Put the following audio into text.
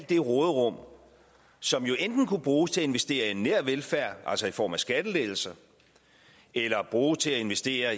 det råderum som jo enten kunne bruges til at investere i nær velfærd altså i form af skattelettelser eller bruges til at investere